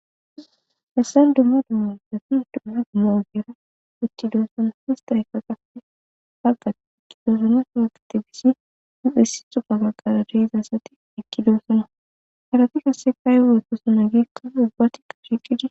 hessan dumma dumma zafi dumma duma ogera uthidoossona fista ykkaqape hagga iqqidoosona fraqtifisi u7essi xoga gagqara deiza asati iqkidoosona halati kasekayweotosona giikka ubbatika hiqidi